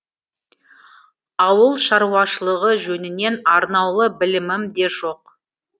ауыл шаруашылығы жөнінен арнаулы білімім де жоқ